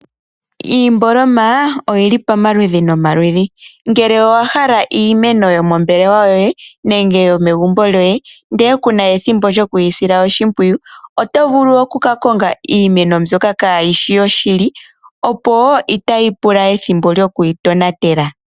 Iimboloma oyili pomaludhi no maludhi. ngele owahala iimeno yo mombelewa yoye nenge yomegumbo lyoye ndele kuna ethimbo lyo kuyisila oshimpwiyu otovulu oku kakonga iimeno mbyoka kayishi yoshili opo itayi pula ethimbo lyo kuyi tonatela.